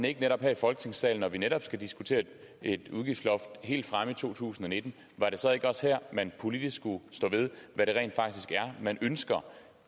ikke netop her i folketingssalen når vi netop skal diskutere et udgiftsloft helt fremme i to tusind og nitten at man politisk skulle stå ved hvad det rent faktisk er man ønsker